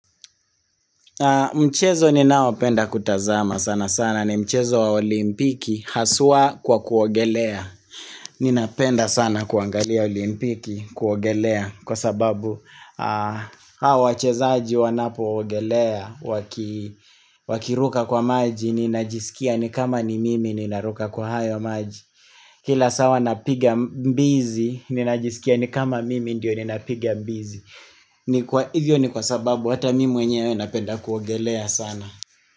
Mchezo ninaopenda kutazama sana sana ni mchezo wa olimpiki haswa kwa kuogelea Ninapenda sana kuangalia olimpiki kuogelea kwa sababu Hawa wachezaji wanapoogelea waki wakiruka kwa maji ninajisikia ni kama ni mimi ninaruka kwa hayo maji Kila sawa napiga mbizi ninajisikia ni kama mimi ndiyo ninapiga mbizi. Ni kwa hivyo ni kwa sababu hata mimi mwenyewe napenda kuogelea sana.